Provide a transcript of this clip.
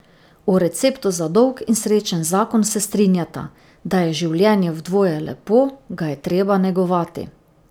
O receptu za dolg in srečen zakon se strinjata: 'Da je življenje v dvoje lepo, ga je treba negovati.